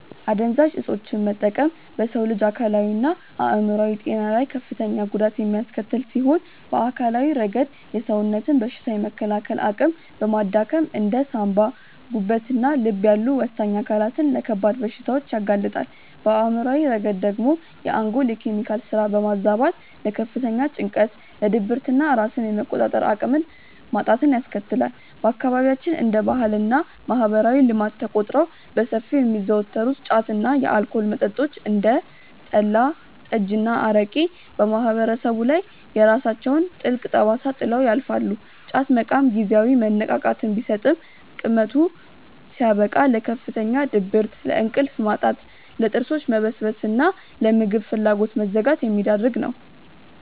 አደንዛዥ እፆችን መጠቀም በሰው ልጅ አካላዊና አእምሯዊ ጤና ላይ ከፍተኛ ጉዳት የሚያስከትል ሲሆን፣ በአካላዊ ረገድ የሰውነትን በሽታ የመከላከል አቅም በማዳከም እንደ ሳንባ፣ ጉበትና ልብ ያሉ ወሳኝ አካላትን ለከባድ በሽታዎች ያጋልጣል፤ በአእምሯዊ ረገድ ደግሞ የአንጎልን የኬሚካል ስራ በማዛባት ለከፍተኛ ጭንቀት፣ ለድብርትና ራስን የመቆጣጠር አቅምን ማጣትን ያስከትላል። በአካባቢያችን እንደ ባህልና ማህበራዊ ልማድ ተቆጥረው በሰፊው የሚዘወተሩት ጫት እና የአልኮል መጠጦች (እንደ ጠላ፣ ጠጅና አረቄ) በማህበረሰቡ ላይ የራሳቸውን ጥልቅ ጠባሳ ጥለው ያልፋሉ፤ ጫት መቃም ጊዜያዊ መነቃቃትን ቢሰጥም ቅመቱ ሲያበቃ ለከፍተኛ ድብርት፣ ለእንቅልፍ ማጣት፣ ለጥርሶች መበስበስና ለምግብ ፍላጎት መዘጋት የሚዳርግ ነው።